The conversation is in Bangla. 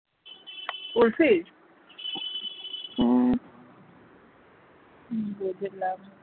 হম বলে লাভ নেই